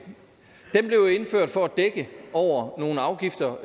den blev indført for at dække over nogle afgifter